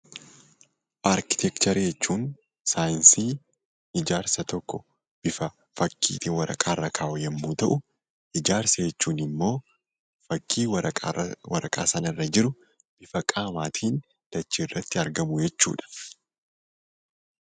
Arkiteekcharii jechuun saayinsii waa'ee ijaarsa tokko bifa fakkiitiin waraqaa irra kaahuu yommuu ta'u, ijaarsa jechuun immoo fakkii waraqaa sana irra jiru bifa qaamaatiin dachee irratti argamu jechuudha.